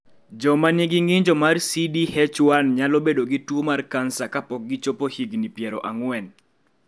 Joma nigi ng�injo mar CDH1 nyalo bedo gi tuo mar kansa kapok gichopo higni piero ang'wen.